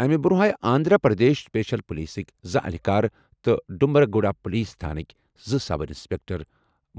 اَمہِ برٛونٛہہ آیہِ آنٛدھرا پرٛدیش سٕپیشَل پُلیٖسٕکہِ زٕ اہلکار تہٕ ڈومبریگُڈا پُلیٖس تھانٕکۍ زٕ سب اِنسپیٚکٹر